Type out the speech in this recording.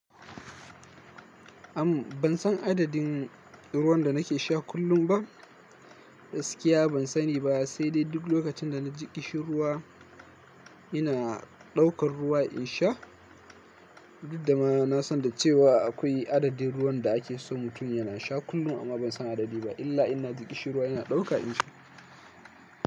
Am ban san adadin ruwan da nake sha kullum ba. Gaskiya ban sani ba, sai dai duk lokacin da na ji ƙishirwa ina ɗaukar ruwa in sha. Diddama na san da cewa akwai adadin ruwan da ake so mutum yana sha kullum, amma ban san adadi ba illa ina ji ƙishirwa ina ɗauka in sha.